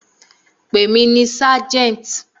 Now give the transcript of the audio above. Pè mí ní Sergeant!